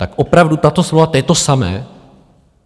Tak opravdu tato slova - to je to samé?